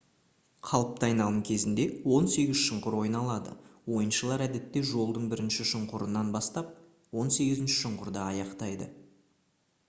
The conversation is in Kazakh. қалыпты айналым кезінде он сегіз шұңқыр ойналады ойыншылар әдетте жолдың бірінші шұңқырынан бастап он сегізінші шұңқырда аяқтайды